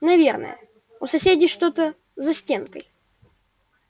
наверное у соседей что-то за стенкой